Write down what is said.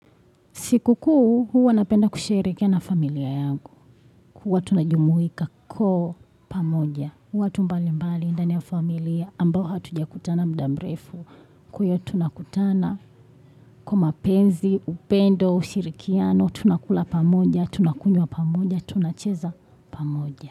Sikukuu, huwa napenda kusherekea na familia yangu. Huwa tunajumuika kwa pamoja. Watu mbalimbali ndani ya familia ambao hatujakutana muda mrefu. Kwahyo tunakutana kwa mapenzi, upendo, ushirikiano, tunakula pamoja, tunakunywa pamoja, tunacheza pamoja.